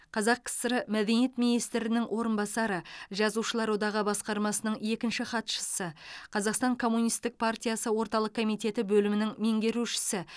қазақ кср мәдениет министрінің орынбасары жазушылар одағы басқармасының екінші хатшысы қазақстан коммунистік партиясы орталық комитеті бөлімінің меңгерушісі